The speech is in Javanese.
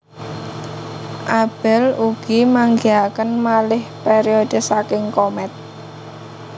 Abell ugi manggihaken malih periode saking komet